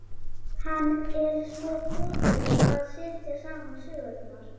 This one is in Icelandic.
Hann er svo fljótur að setja saman sögurnar.